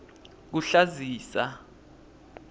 kuhlazisa